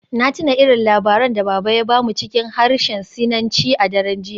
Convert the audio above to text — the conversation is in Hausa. Na tuna irin labaran da Baba ya ba mu cikin harshen Sinanci a daren jiya.